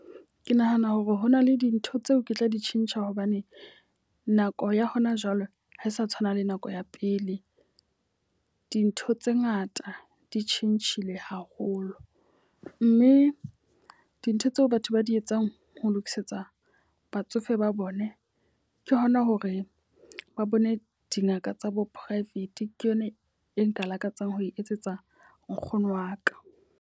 Ke nahana hore hona le dintho tseo ke tla di tjhentjha hobane nako ya hona jwale ha e sa tshwana le nako ya pele. Dintho tse ngata di tjhentjhile haholo. Mme dintho tseo batho ba di etsang ho lokisetsa batsofe ba bone ke hona hore ba bone dingaka tsa bo private. Ke yona e nka lakatsang ho e etsetsa nkgono wa ka.